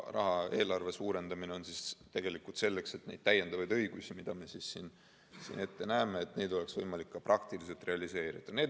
Eelarve suurendamist on vaja tegelikult selleks, et neid täiendavaid õigusi, mida me ette näeme, oleks võimalik ka praktiliselt realiseerida.